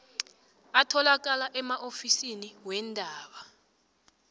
atholakala emaofisini weendaba